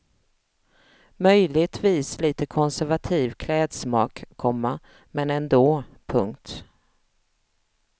Möjligtvis lite konservativ klädsmak, komma men ändå. punkt